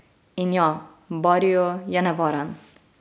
In ja, barrio je nevaren.